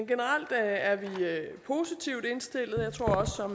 generelt er vi positivt indstillet